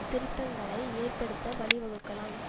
திருத்தங்களை ஏற்படுத்த வழிவகுக்கலாம்